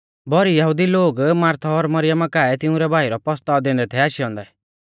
भौरी यहुदी लोग मार्था और मरियमा काऐ तिंउरै भाई रौ पसताऔ दैंदै थै आशै औन्दै